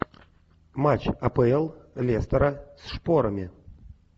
матч апл лестера с шпорами